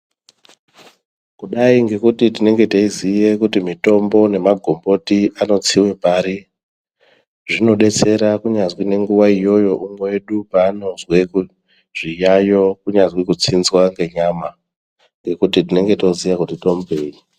Kudai ngekuti tinenge teiziva kuti mitombo nemagomboti anotsiga kugare zvinodetsera kunyazi nguwa iyoyo umwe wedu panozwa zviyayo kunyazi kutsinzwa kwenyama ngekuti tinenge toziva tomupei.